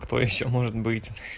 кто ещё может быть